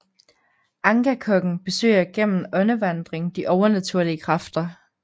Angakokken besøger gennem åndevandring de overnaturlige kræfter